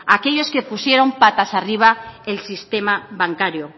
a aquellos que pusieron patas arriba el sistema bancario